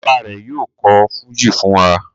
Bàbá rẹ̀ yóò kọ̀ fújì fún wa.